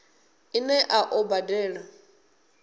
ine a ḓo i badela